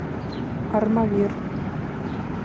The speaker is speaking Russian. армавир